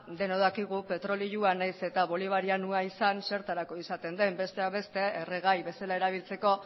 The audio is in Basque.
denok dakigu petrolioa nahiz eta bolivarianoa izan zertarako izaten den besteak beste erregai bezala erabiltzeko